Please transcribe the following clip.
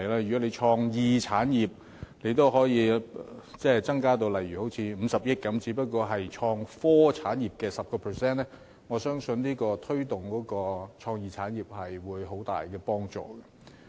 如果對創意產業的撥款可以增至如50億元，也不過是創科產業撥款額的 10%， 但我相信對推動創意產業有很大幫助。